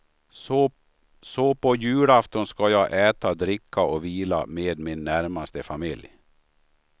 Så på julafton skall jag äta, dricka och vila med min närmaste familj.